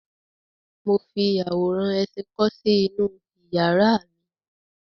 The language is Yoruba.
Mo fi àwòrán ẹṣin kọ́ sí inú iyàrá mi.